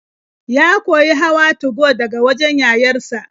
Ya koyi hawa 2go daga wajen yayar sa.